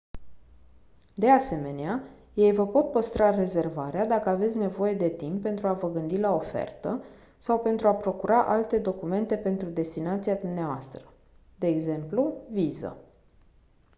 de asemenea ei vă pot păstra rezervarea dacă aveți nevoie de timp pentru a vă gândi la ofertă sau pentru a procura alte documente pentru destinația dvs. de exemplu viză